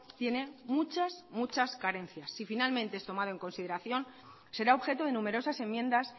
tiene muchas muchas carencias si finalmente es tomado en consideración será objeto de numerosas enmiendas